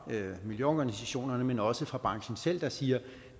miljøorganisationer men også fra branchen selv der siger at